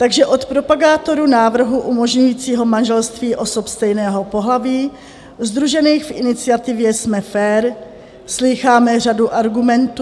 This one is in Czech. Takže od propagátorů návrhu umožňujícího manželství osob stejného pohlaví sdružených v iniciativě Jsme fér, slýcháme řadu argumentů...